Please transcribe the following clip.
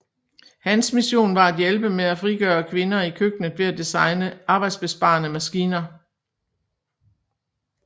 Hans mission var at hjælpe med a frigøre kvinder i køkkenet ved at designe arbejdsbesparende maskiner